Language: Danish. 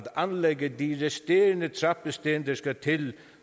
anlægge de resterende trappesten der skal til